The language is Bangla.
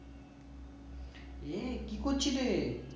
ইয়ে কি করছিলে?